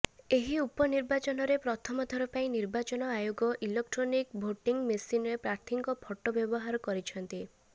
ଏହି ଉପନିର୍ବାଚନରେ ପ୍ରଥମ ଥର ପାଇଁ ନିର୍ବାଚନ ଆୟୋଗ ଇଲୋଟ୍ରନିକ୍ ଭୋଟିଙ୍ଗ୍ ମେସିନରେ ପ୍ରାର୍ଥୀଙ୍କ ଫଟୋ ବ୍ୟବହାର କରିଛନ୍ତି